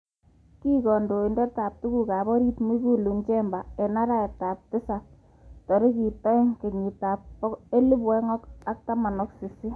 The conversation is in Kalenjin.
Arawet ab tisab tarikit agenge kenyit ab 2018 Mwigulu Nchemba kikiwirchi koek kandoindet ab tuguk chebo orit.